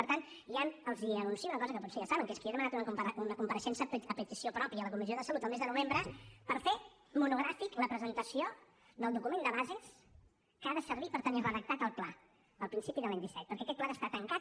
per tant ja els anuncio una cosa que potser ja saben que és que jo he demanat una compareixença a petició pròpia a la comissió de salut el mes de novembre per fer monogràfic la presentació del document de bases que ha de servir per tenir redactat el pla a principis de l’any disset perquè aquest pla ha d’estar tancat